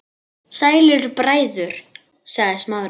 Sælir bræður- sagði Smári.